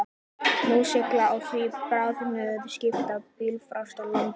Nú sigla á því bráðnuð skip til blýfastra landa.